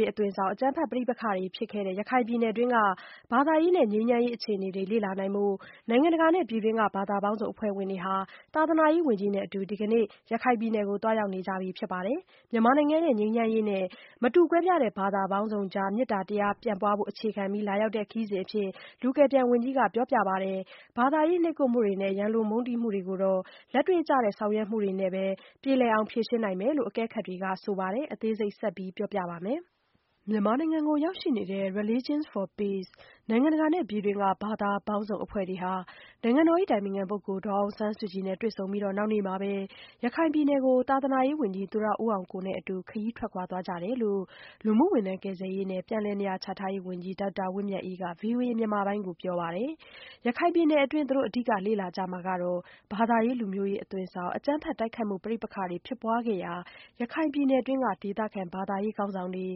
ရေးအသွင်ဆောင် အကြမ်းဖက်ပဋိပက္ခတွေဖြစ်ခဲ့တဲ့ ရခိုင်ပြည်နယ်တွင်းက ဘာသာရေးနဲ့ငြိမ်းချမ်းရေးအခြေအနေတွေ လေ့လာနိုင်ဖို့ နိုင်ငံတကာနဲ့ပြည်တွင်းက ဘာသာပေါင်းစုံ အဖွဲ့ဝင်တွေဟာ သာသနာရေးဝန်ကြီးနဲ့အတူ ဒီကနေ့ သွားရောက်နေကြပြီဖြစ် ပါတယ်။ မြန်မာနိုင်ငံရဲ့ ငြိမ်းချမ်းရေးနဲ့ မတူကွဲပြားတဲ့ ဘာသာပေါင်းစုံကြား မေတ္တာတရားပြန့်ပွားဖို့အခြေခံပြီး လာရောက်တဲ့ခရီးစဉ်အဖြစ် လူကယ်ပြန်ဝန်ကြီးက ပြောပါတယ်။ ဘာသာတရား နှိပ်ကွပ်မှုတွေနဲ့ ရန်လိုမုန်းတီးမှုတွေကိုတော့ လက်တွေ့ကျတဲ့ဆောင်ရွက်မှုတွေနဲ့ပဲ ဖြေရှင်းနိုင်မယ်လို့ အကဲခတ်တွေကဆိုပါတယ်။ မဆုမွန် စုံစမ်းတင်ပြထားပါတယ်။ မြန်မာနိုင်ငံကိုရောက်ရှိနေတဲ့ Religions for Peace နိုင်ငံတကာနဲ့ပြည်တွင်းက ဘာသာပေါင်းစုံအဖွဲ့တွေဟာ နိုင်ငံတော် အတိုင်ပင်ခံ ပုဂ္ဂိုလ် ဒေါ်အောင်ဆန်းစုကြည်နဲ့ တွေ့ဆုံပြီးတော့ နောက်နေ့မှာပဲ ရခိုင်ပြည်နယ်ကို သာသာရေးဝန်ကြီး သူရဦးအောင်ကိုနဲ့ အတူ ခရီး ထွက်ခွာ သွားကြတယ်လို့ လူမှုဝန်ထမ်းကယ်ဆယ်ရေးနဲ့ ပြန်လည်နေရာချ ထားရေး ဝန်ကြီး ဒေါက်တာဝင်းမြတ်အေးက ဗွီအိုအေမြန်မာပိုင်းကို ပြောပါ တယ်။ ရခိုင်ပြည်နယ်ခရီးစဉ်အတွင်း သူတို့ အဓိကလေ့လာကြမှာကတော့ ဘာသာရေးလူမျိုးရေး အသွင်ဆောင် အကြမ်းဖက် တိုက်ခိုက် မှု ပဋိ ပက္ခတွေဖြစ်ပွားခဲ့ရာ ရခိုင်ပြည်နယ်တွင်း က ဒေသခံ ဘာသာရေးခေါင်းဆောင်တွေ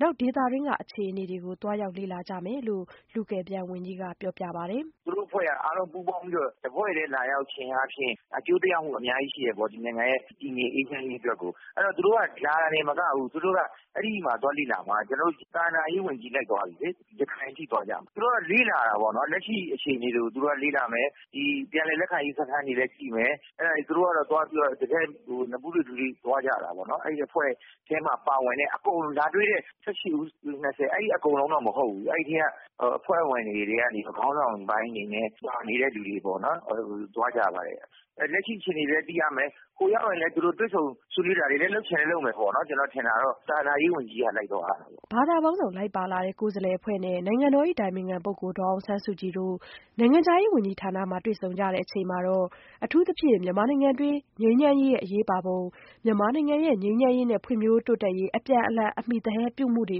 နဲ့တွေ့ဆုံကြပြီး ဒေသတွင်းက အခြေအနေတွေ ကို သွားရောက်လ့လာကြမယ်လို့ လူကယ်ပြန်ဝန်ကြီးက ပြောပြပါတယ်။ "သူတို့အဖွဲ့တွေက အားလုံးပူးပေါင်းပြီးတော့ တဖွဲ့တည်းလာရောက်ခြင်းအားဖြင့် အကျိုး သက်ရောက်မှု အများကြီးရှိတယ်ပေါ့၊ ဒီနိုင်ငံရဲ့ တည်ငြိမ်အေးချမ်းရေးအတွက်ကို။ အဲဒီတော့ သူတို့က လာတာတင်မကဘူး၊ သူတို့က အဲဒီမှာသွားလေ့လာမှာ။ သာသနာရေး ဝန်ကြီး လိုက်သွားပြီလေ။ ရခိုင်အထိသွားကြမှာ။ သူတို့က လေ့လာမှာပေါ့နော်၊ လက်ရှိအခြေအနေတွေကို သူတို့ကလေ့လာမယ်။ ပြန်လည် လက်ခံရေး စခန်းတွေကိုလည်း ကြည့်မယ်။ တကယ့်ကို နဖူးတွေ့၊ ဒူးတွေ့ သွားကြ တာပေါ့နော်၊ အဲဒီအဖွဲ့ထဲမှာ ပါဝင်တဲ့အကုန်၊ လာတွေ့တဲ့ ၁၈ ဦး၊ ၂၀ အကုန်လုံးတော့ မဟုတ်ဘူး၊ အဲဒီထဲက အဖွဲ့ဝင်တွေထဲက ခေါင်းဆောင်ပိုင်းတွေနဲ့... နေတဲ့လူတွေပေါ့နော်- အဲလို သွားကြပါတယ်။ လက်ရှိအခြေအနေလည်း သိရမယ်။ ဟိုရောက်ရင်လည်း တွေ့ဆုံဆွေးနွေးတာတွေလည်း လုပ်ချင်လည်း လုပ်မယ်ပေါ့နော်။ ကျနော်ထင်တာတော့- သာသနာရေးဝန်ကြီးက လိုက်သွားရတာပေါ့။" ဘာသာပေါင်းစုံ လိုက်ပါလာတဲ့ ကိုယ်စားလှယ်အဖွဲ့နဲ့ နိုင်ငံတော်၏အတိုင်ပင်ခံပုဂ္ဂိုလ် ဒေါ်အောင်ဆန်းစုကြည်တို့ နိုင်ငံခြားရေးဝန်ကြီးဌာနမှာ တွေ့ဆုံကြချိန်မှာ အထူးသဖြင့် မြန်မာနိုင်ငံတွင်း ငြိမ်းချမ်းရေးရဲ့ အရေးပါပုံ၊ မြန်မာနိုင်ငံ ငြိမ်းချမ်းရေးနဲ့ ဖွံ့ဖြိုးတိုးတက်ရေး အပြန်အလှန်အမှီသဟဲပြုမှုတွေ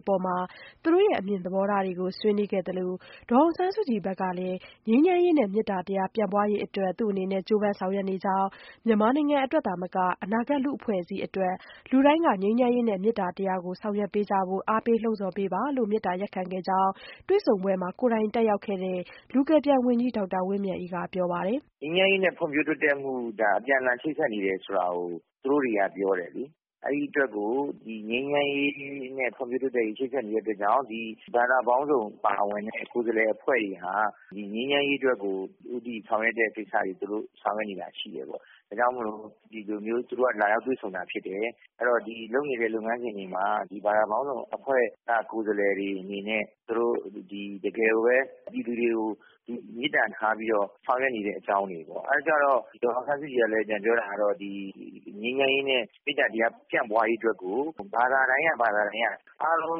အပေါ်မှာ သူတို့အမြင်သဘောထားတွေကို ဆွေးနွေးခဲ့ သလို ဒေါ်အောင်ဆန်းစုကြည်ဘက်ကလည်း ငြိမ်းချမ်းရေးနဲ့ မေတ္တာတရား ပြန့်ပွားရေး အတွက် သူ့အနေနဲ့ ကြိုးပမ်းဆောင်ရွက်နေကြောင်းနဲ့ မြန်မာနိုင်ငံအတွက် သာမက အနာဂတ် လူ့အဖွဲ့အစည်းအတွက် လူတိုင်းက ငြိမ်းချမ်းရေးနှင့် မေတ္တာတရားကို ေဆောင်ရွက်ကြရန် အားပေးလှုံ့ဆော်ပေးပါလို့ မေတ္တာရပ်ခံခဲ့တယ်လို့ တွေ့ဆုံပွဲမှာ ကိုယ်တိုင်တက်ရောက်ခဲ့တဲ့ လူကယ်ပြန်ဝန်ကြီးကပြောပါတယ်။ "ငြိမ်းချမ်းရေးနဲ့ဖွံ့ဖြိုးတိုးတက်မှု ဒါ အပြန်အလှန် ချိတ်ဆက်နေတယ်ဆိုတာကို သူတို့တွေက ပြောတယ်လေ။ အဲဒီအတွက်ကို ငြိမ်းချမ်းရေးနဲ့ ဖွံ့ဖြိုးတိုးတက်ရေး ချိတ်ဆက်နေတဲ့အတွက်ကြောင့် ဒီ ဘာသာပေါင်းစုံပါဝင်တဲ့ အခု ကိုယ်စားလှယ် အဖွဲ့တွေဟာ ဒီ ငြိမ်းချမ်းရေးအတွက်ကို ဦးတည်ဆောင်ရွက်တဲ့ကိစ္စတွေ သူတို့ ဆောင်ရွက်နေတာရှိတယ်ပေါ့။ ဒါကြောင့်မို့လို့ သူတို့က ဒီလိုမျိုး လာရောက်တွေ့ဆုံတာ ဖြစ်တယ်။ အဲဒီတော့ လုပ်နေတဲ့လုပ်ငန်းစဉ်တွေမှာ ဘာသာပေါင်းစုံအဖွဲ့က ကိုယ်စားလှယ်တွေအနေနဲ့ သူတို့ တကယ်ကိုပဲ ပြည်သူတွေကို မေတ္တာထားပြီးတော့ ဆောင်ရွက်နေတဲ့အကြောင်းတွေပေါ့။ အဲဒီတော့ကျတော့ ဒေါ်အောင်ဆန်းစုကြည် ကလည်း ပြန်ပြောတာက ဒီ ငြိမ်းချမ်းရေးနဲ့ မေတ္တာတရားပြန့်ပွားရေးအတွက်ကို ဘာသာတိုင်း ဘာသာတိုင်းက အားလုံး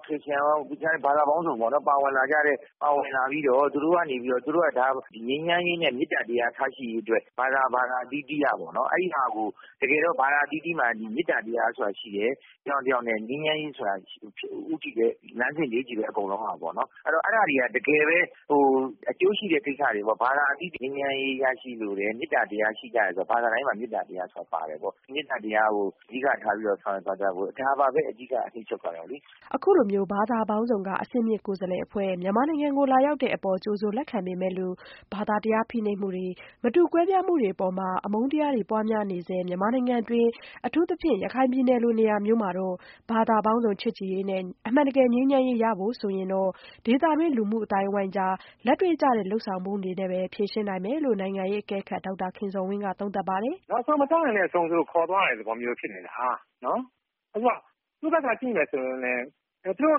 - ခရစ္စယာန်ရော ဘာသာပေါင်းစုံပေါ့ - ပါဝင် လာပြီးတော့ သူတို့ကနေပြီးတော့ ငြိမ်းချမ်းရေးနဲ့ မေတ္တာတရားထားရှိရေးအတွက် ဘာသာ ဘာသာအသီးသီးက အဲဒီဟာကို တကယ်တော့ ဘာသာအသီးသီးမှာ မေတ္တာတရားဆိုတာ ရှိတယ်။ တယောက်နဲ့တယောက်နဲ့ ငြိမ်းချမ်းရေးဆိုတာ ဦးတည်တဲ့ လမ်းစဉ်တွေချည့်ပဲ အကုန်လုံးကပေါ့။ အဲဒီတော့ အဲဒါတွေဟာ တကယ်ပဲ ဟို အကျိုးရှိတဲ့ကိစ္စတွေပေါ့၊ ဘာသာအသီးသီး - ငြိမ်းချမ်းရေး ရရှိလိုတယ်၊ မေတ္တာတရား ရှိကြတယ်ဆိုတာ၊ ဘာသာတိုင်းမှာ မေတ္တာတရားဆိုတာ ပါတယ်ပေါ့။ မေတ္တာတရားကို အဓိကထားပြီးတော့ ဆောင်ရွက်သွားကြဖို့- ဒါပါပဲ အဓိက အနှစ်ချုပ်ကတော့လေ။" အခုလို ဘာသာပေါင်းစုံက အဆင့်မြင့်ကိုယ်စားလှယ်အဖွဲ့ မြန်မာနိုင်ငံကိုလာရောက်တဲ့ အပေါ် ကြိုဆိုလက်ခံပေမဲ့လို့ ဘာသာတရားဖိနှိပ်မှုတွေ မတူကွဲပြားမှုတွေ အပေါ် မှာ အမုန်း တရားတွေ ပွားများနေဆဲ မြန်မာနိုင်ငံတွင်း အထူးသဖြင့် ရခိုင်ပြည်နယ်လို နေရာမှာတော့ ဘာသာပေါင်းစုံ ချစ်ကြည်ရေးနဲ့ အမှန်တကယ် ငြိမ်းချမ်းရေးရဖို့ အတွက်ကတော့ ဒေသတွင်း လူမှုအသိုင်းအဝိုင်းတွေကြား လက်တွေ့ကျတဲ့ လုပ်ဆောင်မှု တွေနဲ့ပဲ ဖြေရှင်းနိုင်မယ်လို့ နိုင်ငံရေးအကဲခတ်ဒေါက်တာခင်ဇော်ဝင်းက သုံးသပ်ပါတယ်။ "နောက်ဆုံး မစောင့်နိုင်တဲ့အဆုံး သူတို့ ခေါ်သွားရတဲ့သဘောမျိုးဖြစ်နေတာ။ နော်- အခုက သူ့ဘက်က ကြည့်မယ်ဆိုရင်လည်း သူတို့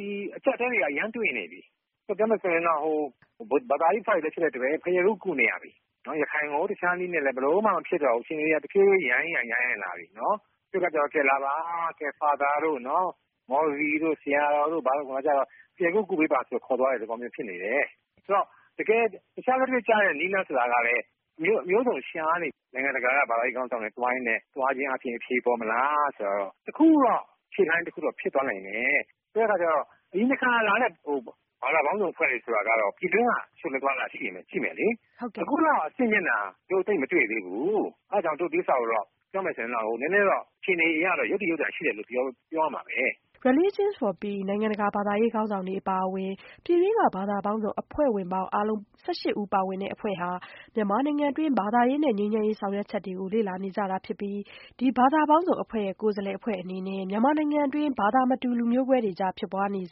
ဒီအခက်အခဲတွေက အရမ်းတွေ့နေပြီ။ ပြောမယ်ဆိုရင်တော့ ဘာသာရေးကိစ္စတွေလည်း ဖြစ်နေတဲ့အတွက် ဘုရားကု ကုနေရပြီ။ ရခိုင်ကို တခြားနည်းနဲ့လည်း ဘယ်လိုမှ မဖြစ်တော့ဘူး။ အခြေအနေက တဖြည်းဖြည်း ယိုင်ယိုင် ယိုင်ယိုင်လာပြီ။ နော်၊ အဲဒီတော့အခါကျ လာပါ... ဖာသာတို့၊ မော်လဝီတို့၊ ဆရာတော်တို့...ဘုရားကု ကုပေးပါဆိုပြီး ခေါ်သွားတဲ့သဘောမျိုး ဖြစ်နေတယ်။..ဆိုတော့ တခြား လက်တွေ့ကျတဲ့ နည်းလမ်းဆိုတာကလည်း မျိုးစုံရှာနေပြီ။ နိုင်ငံတကာက ဘာသာရေး ခေါင်းဆောင်တွေ သွားရင်းနဲ့၊ သွားခြင်းအားဖြင့် အဖြေပေါ်မလား ဆိုတာတော့၊ တခုခုတော့ အဖြေ....တခုတော့ ဖြစ်သွားနိုင်တယ်။ အဲဒီတော့ ဒီတခါလာ တဲ့ ဘာသာပေါင်းစုံအဖွဲ့တွေ ဆိုတာကတော့ ပြည်တွင်းက... ရှိရင်လည်းရှိမယ်လေ။ အခုလောက် အဆင့်မြင့်တာ တို့ သိပ်မတွေ့သေးဘူး။ အဲဒါကြောင့် ဒီဥစ္စာကိုတော့ ပြောမယ် ဆိုရင်တော့ နည်းနည်းတော့ အခြေအနေအရတော့ ယုတ္တိယုတ္တာရှိတယ်လို့ ပြောရမှာပဲ။" Religions for Peace နိုင်ငံတကာ ဘာသာရေးခေါင်းဆောင်တွေအပါအဝင် ပြည်တွင်းက ဘာသာပေါင်းစုံအဖွဲ့ဝင်ပေါင်း အားလုံး ဦးပါဝင်တဲ့ အဖွဲ့ဟာ မြန်မာနိုင်ငံတွင်း ဘာသာရေးနဲ့ငြိမ်းချမ်းရေးဆောင်ရွက်ချက်တွေကို လေ့လာနေကြတာဖြစ်ပြီး ဒီဘာသာရေးအဖွဲ့ပေါင်းစုံ အနေနဲ့ မြန်မာနိုင်ငံတွင်း ဘာသာမတူ လူမျိုးကွဲတွေကြား ဖြစ်ပွားနေ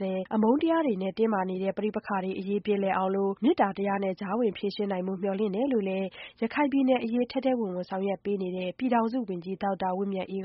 တဲ့ အမုန်းတရားတွေ တင်းမာနေဆဲ ပဋိပက္ခတွေအရေး ပြေလည်အောင် မေတ္တာတရားနဲ့ ကြားဝင်ဖြေရှင်းနိုင်ဖို့ မျှော်လင့်တယ်လို့လည်း ရခိုင်ပြည်နယ်အရေး ထဲထဲဝင်ဝင်ဆောင်ရွက်ပေးနေတဲ့ ပြည်ထောင်စုဝန်ကြီး ဒေါက်တာဝင်းမြတ်အေး